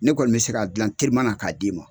Ne kɔni bɛ se ka dilan terima k'a d'i ma.